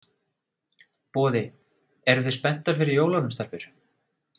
Boði: Eruð þið spenntar fyrir jólunum, stelpur?